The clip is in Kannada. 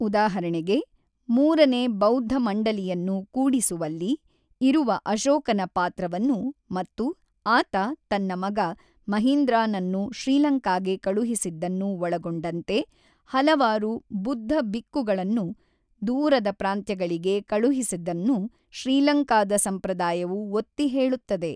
ಉದಾಹರಣೆಗೆ, ಮೂರನೇ ಬೌದ್ಧ ಮಂಡಲಿಯನ್ನು ಕೂಡಿಸುವಲ್ಲಿ ಇರುವ ಅಶೋಕನ ಪಾತ್ರವನ್ನು ಮತ್ತು ಆತ ತನ್ನ ಮಗ ಮಹಿಂದ್ರಾನನ್ನು ಶ್ರೀಲಂಕಾಗೆ ಕಳುಹಿಸಿದ್ದನ್ನು ಒಳಗೊಂಡಂತೆ ಹಲವಾರು ಬುದ್ಧಬಿಕ್ಕುಗಳನ್ನು ದೂರದ ಪ್ರಾಂತ್ಯಗಳಿಗೆ ಕಳುಹಿಸಿದನ್ನು ಶ್ರೀಲಂಕಾದ ಸಂಪ್ರದಾಯವು ಒತ್ತಿ ಹೇಳುತ್ತದೆ.